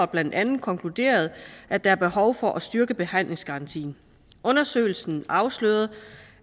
blandt andet konkluderede at der er behov for at styrke behandlingsgarantien undersøgelsen afslørede